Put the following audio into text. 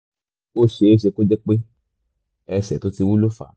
ó ṣeé ṣe kó jẹ́ pé ẹsẹ̀ tó ti wú ló fà á